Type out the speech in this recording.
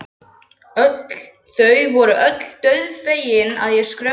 Þau voru öll dauðfegin að ég skrökvaði.